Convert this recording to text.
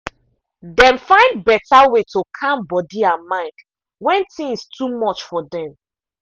dem find better way to calm body and mind when things too much for dem.